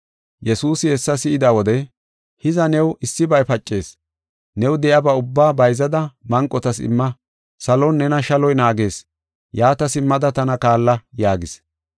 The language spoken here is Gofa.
Yesuusi hessa si7ida wode, “Hiza, new issibay pacees; new de7iyaba ubbaa bayzada manqotas imma; salon nena shaloy naagees. Yaata simmada, tana kaalla” yaagis.